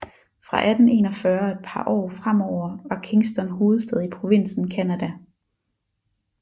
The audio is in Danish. Fra 1841 og et par år fremover var Kingston hovedstad i provinsen Canada